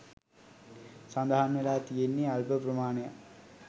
සඳහන් වෙලා තියෙන්නේ අල්ප ප්‍රමාණයක්.